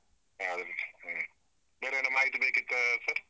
ಹ ಸರಿ ಬೇರೆ ಏನಾದ್ರು ಮಾಹಿತಿ ಬೇಕಿತ್ತಾ sir ?